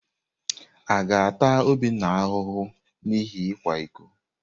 A ga-ata Obinna ahụhụ n’ihi ịkwa iko?